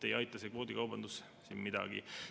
Ei aita see kvoodikaubandus siin midagi.